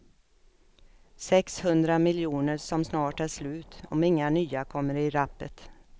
Sex hundra miljoner som snart är slut, om inga nya kommer i rappet.